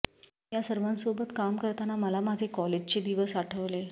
या सर्वांसोबत काम करताना मला माझे कॉलेजचे दिवस आठवले